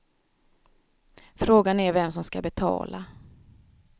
Frågan är vem som ska betala.